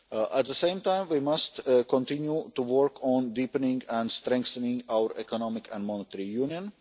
At the same time, we must continue to work on deepening and strengthening our economic and monetary union.